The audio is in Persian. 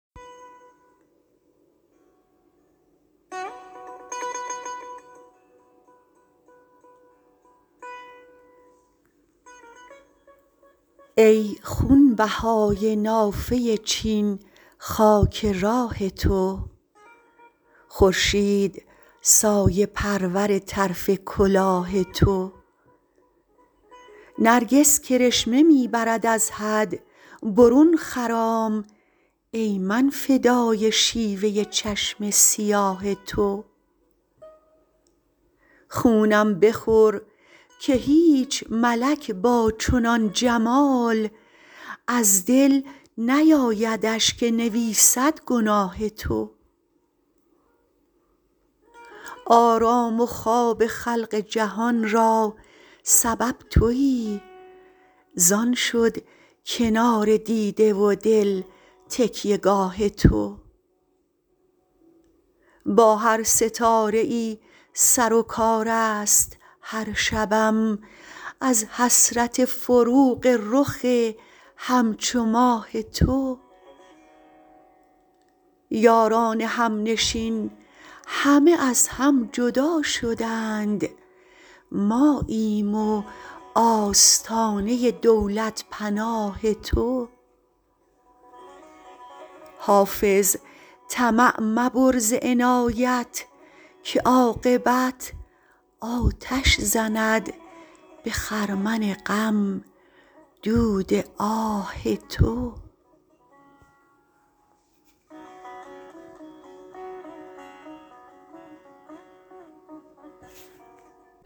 ای خونبهای نافه چین خاک راه تو خورشید سایه پرور طرف کلاه تو نرگس کرشمه می برد از حد برون خرام ای من فدای شیوه چشم سیاه تو خونم بخور که هیچ ملک با چنان جمال از دل نیایدش که نویسد گناه تو آرام و خواب خلق جهان را سبب تویی زان شد کنار دیده و دل تکیه گاه تو با هر ستاره ای سر و کار است هر شبم از حسرت فروغ رخ همچو ماه تو یاران همنشین همه از هم جدا شدند ماییم و آستانه دولت پناه تو حافظ طمع مبر ز عنایت که عاقبت آتش زند به خرمن غم دود آه تو